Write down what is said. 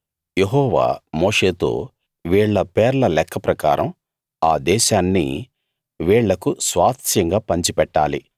యెహోవా మోషేతో వీళ్ళ పేర్ల లెక్క ప్రకారం ఆ దేశాన్ని వీళ్ళకు స్వాస్థ్యంగా పంచిపెట్టాలి